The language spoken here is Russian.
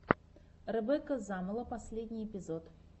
ребекка замоло последний эпизод